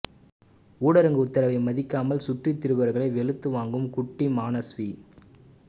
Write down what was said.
ஊரடங்கு உத்தரவை மதிக்காமல் சுற்றி திரிபவர்களை வெளுத்து வாங்கும் குட்டி மானஸ்வி